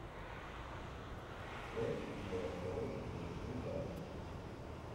часть два второй сезон вулкан